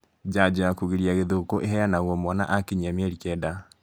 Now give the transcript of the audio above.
Njanjo ya kũgiria gĩthũkũ iheanagũo mwana akinyĩ mĩeri kenda